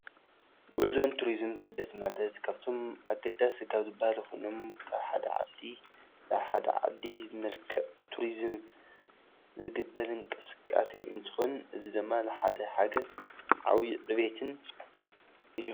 ጉዕዞን ትሪዝምን ስደት ማለት ካፍቶም ኣገዳሲ ካብ ዝባሃሉ ኾይኖም ካብ ሓደ ዓዲ ናብ ሓደ ዓዲ ብመልክዕ ቱሪዝም ዝግበር እንቅስቃሴ እንትኾን እዚ ድማ ንሓንቲ ሃገር ዓብይ ዕብየትን እዩ፡፡